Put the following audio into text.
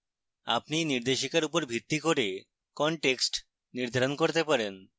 আপনি you নির্দেশিকার উপর ভিত্তি করে context নির্ধারণ করতে পারেন